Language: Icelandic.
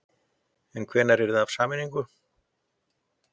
En hvenær yrði af sameiningunni?